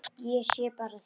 Ég sé bara þig!